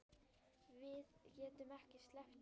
Við getum ekki sleppt þessu.